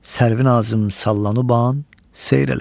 Sərvinazım sallanıban seyr elə.